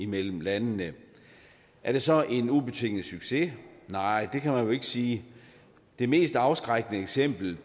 mellem landene er det så en ubetinget succes nej det kan man jo ikke sige det mest afskrækkende eksempel